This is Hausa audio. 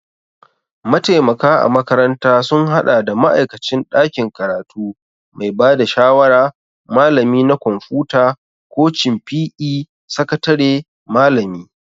Mataimaka a makaranta sun haɗa da ma'aikacin ɗakin karatu, mai ba da shawara, Malami na kwamfuta, kocin PE., sakatare, malami